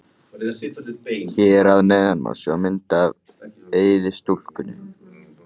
Hér að neðan má sjá mynd af Eiði í stúkunni.